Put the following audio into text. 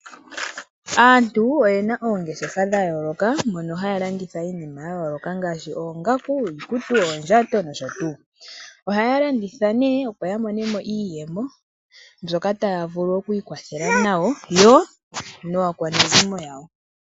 Aantu oye na oongeshefa dha yooloka moka haya landitha iinima ya yoolokathana ngaashi oongaku, iikutu, oondjato nosho tuu. Ohaya landitha opo ya monemo iiyemo mbyoka taya vulu okwiikwathela nayo naakwanezimo yawo.